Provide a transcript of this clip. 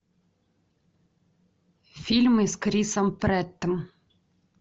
фильмы с крисом прэттом